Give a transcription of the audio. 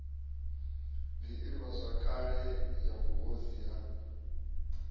d ivhazwakale ya vhuhosi ha